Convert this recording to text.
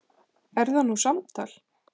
Er það nú samtal!